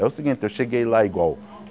É o seguinte, eu cheguei lá igual.